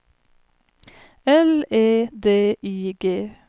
L E D I G